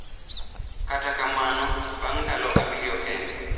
Kata kamano, bang’ ndalo abiriyo kende,